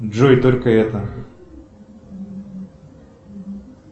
джой только это